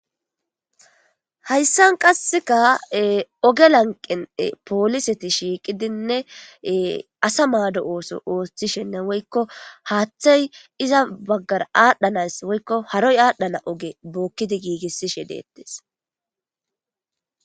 Hayisan qaseka oge laniqen e poliseti shiqidine asa mado oso othishenee woyiko hathay iza bagara adhayinayisa woyiko haroy adhana oge bokidi gigisishe de'etes